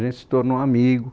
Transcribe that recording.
A gente se tornou amigo.